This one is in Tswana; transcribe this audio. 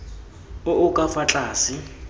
o o ka fa tlase